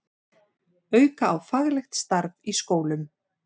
Auka á faglegt starf í skólum